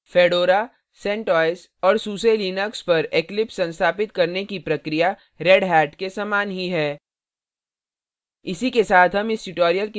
fedora centos और suselinux पर eclipse संस्थापित करने की प्रक्रिया redhat के समान ही है